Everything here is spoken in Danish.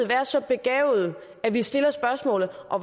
være så begavede at vi stiller spørgsmålet